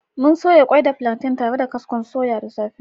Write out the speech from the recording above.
Mun soya kwai da plantain tare da kaskon soya da safe